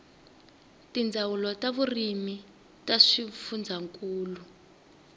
tindzawulo ta vurimi ta swifundzankulu